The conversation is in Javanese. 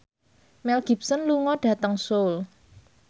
Mel Gibson lunga dhateng Seoul